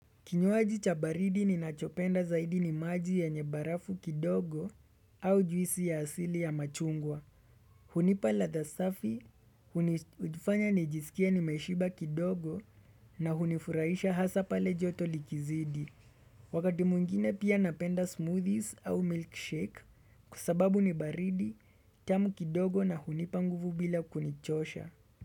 Kinywaji cha baridi ninachopenda zaidi ni maji yenye barafu kidogo au juisi ya asili ya machungwa. Hunipa ladha safi, hunifanya nijisikie nimeshiba kidogo na hunifurahisha hasa pale joto likizidi. Wakati mwengine pia napenda smoothies au milkshake kwa sababu ni baridi, tamu kidogo na hunipa nguvu bila kunichosha.